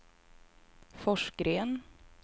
Forsgren